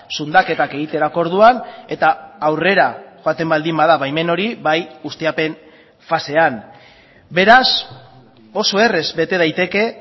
zundaketak egiterako orduan eta aurrera joaten baldin bada baimen hori bai ustiapen fasean beraz oso errez bete daiteke